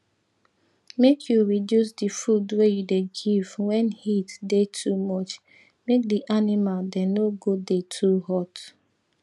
make you reduce di food wey you dey give wen heat dey too much make di animal dem no go dey too hot